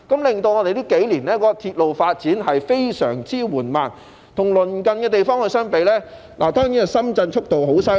結果令這數年的鐵路發展非常緩慢，與鄰近地方相比，深圳的速度當然很厲害。